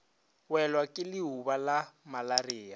welwa ke leuba la malaria